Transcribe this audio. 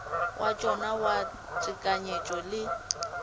wa tšona wa tekanyetšo le